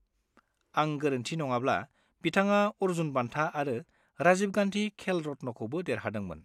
आं गोरोन्थि नङाब्ला बिथाङा अर्जुन बान्था आरो राजीव गांधी खेल रत्नखौबो देरहादोंमोन।